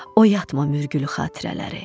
Oyatma mürgülü xatirələri.